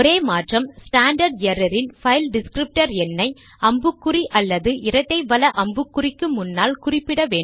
standard error இன் file descriptor எண்ணை அம்புக்குறி அல்லது இரட்டை வல அம்புக்குறி க்கு முன்னால் குறிப்பிட வேண்டும்